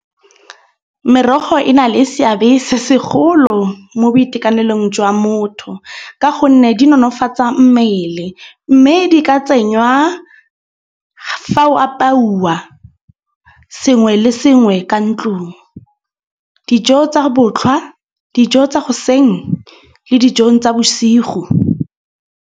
Merogo e na le seabe se segolo mo boitekanelong jwa motho. Ka gonne di nonofatsa mmele. Mme di ka tsenywa fa o apauwa sengwe le sengwe ka ntlung. Dijo tsa botlhwa dijo tsa goseng le dijong tsa bosigo.